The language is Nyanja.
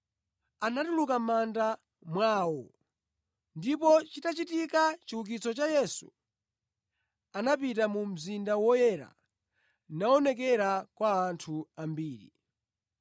Anatuluka mʼmanda mwawo, ndipo chitachitika chiukitso cha Yesu, anapita mu mzinda woyera naonekera kwa anthu ambiri.